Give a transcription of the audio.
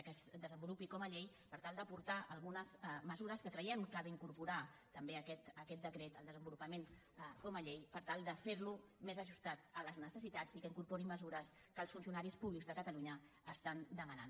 que es desenvolupi com a llei per tal d’aportar algunes mesures que creiem que ha d’incorporar també aquest decret al desenvolupa·ment com a llei per tal de fer·lo més ajustat a les ne·cessitats i que incorpori mesures que els funcionaris públics de catalunya estan demanant